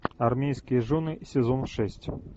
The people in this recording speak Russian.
армейские жены сезон шесть